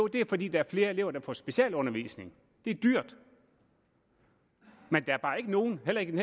det fordi der er flere elever der får specialundervisning det er dyrt men der er bare ikke nogen heller ikke i